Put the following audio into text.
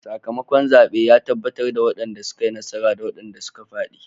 Sakamakon zaben ya tabbatar da wadanda suka yi nasara da wadanda suka fadi.